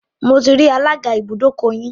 Mo ti rí alága ibùdókọ̀ yín.